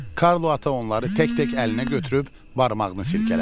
Karlo Ata onları tək-tək əlinə götürüb barmağını silkələdi.